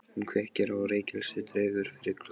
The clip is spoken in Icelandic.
Hún kveikir á reykelsi og dregur fyrir gluggana.